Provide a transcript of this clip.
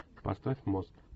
поставь мост